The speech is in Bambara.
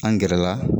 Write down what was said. An gɛrɛ la